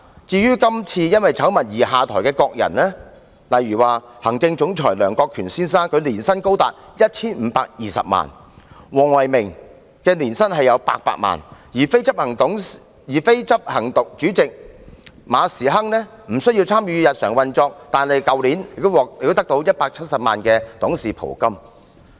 至於今次因醜聞而下台的各人，例如行政總裁梁國權先生的年薪高達 1,520 萬元，黃唯銘的年薪亦達800萬元，而非執行主席馬時亨雖然無需參與日常運作，但去年也獲得170萬元的董事袍金。